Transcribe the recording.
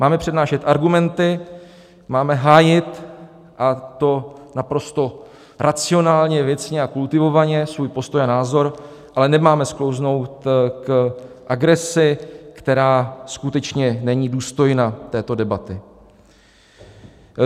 Máme přednášet argumenty, máme hájit, a to naprosto racionálně, věcně a kultivovaně, svůj postoj a názor, ale nemáme sklouznout k agresi, která skutečně není důstojná této debaty.